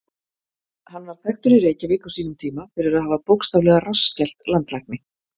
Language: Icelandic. Hann var þekktur í Reykjavík á sínum tíma fyrir að hafa bókstaflega rassskellt landlækni.